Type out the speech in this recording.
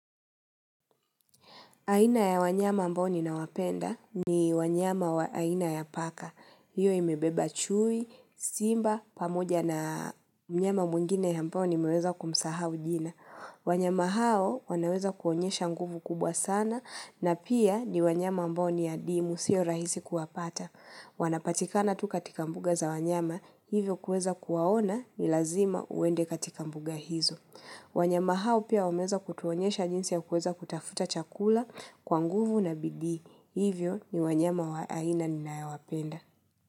Aina ya wanyama ambao ninawapenda ni wanyama wa aina ya paka. Hiyo imebeba chui, simba, pamoja na mnyama mwingine ambao nimeweza kumsahau jina. Wanyama hao wanaweza kuonyesha nguvu kubwa sana na pia ni wanyama ambao ni ya adimu, sio rahisi kuwapata. Wanapatikana tu katika mbuga za wanyama, hivyo kuweza kuwaona ni lazima uende katika mbuga hizo. Wanyama hao pia wameweza kutuonyesha njinsi ya kuweza kutafuta chakula kwa nguvu na bidii. Hivyo ni wanyama wa aina ninayawapenda.